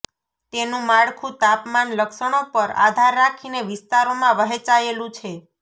તેનું માળખું તાપમાન લક્ષણો પર આધાર રાખીને વિસ્તારોમાં વહેંચાયેલું છે